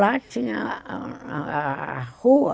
Lá tinha a rua,